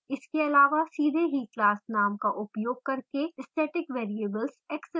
इसके अलावा सीधे ही class name का उपयोग करके static variables access करें